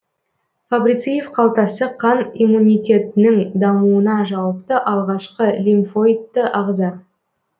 фабрициев қалтасы қан иммунитетінің дамуына жауапты алғашқы лимфоидты ағза